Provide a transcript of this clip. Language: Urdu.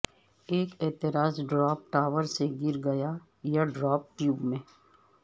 ایک اعتراض ڈراپ ٹاور سے گر گیا یا ڈراپ ٹیوب میں